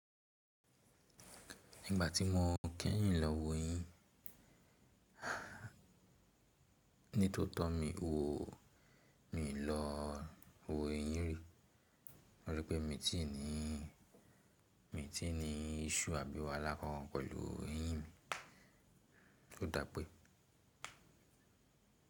Nígbà tí mo kẹ́yìn lọ wo eyín, ní tó tọ́ mi wò, min lọ wo eyín rí. Mo rí pé mi ti ní, mi ti ní iṣsue àbí wáhala alákankan pẹ̀lú eyín mi. Ó dà pé.